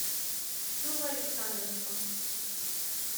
новоалександровском